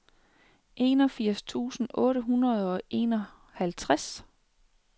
enogfirs tusind otte hundrede og enoghalvtreds